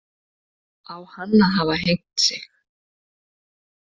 Á hann að hafa hengt sig